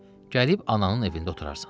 Gəlib ananın evində oturarsan.